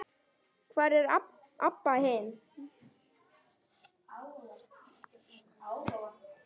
Hvar er Abba hin?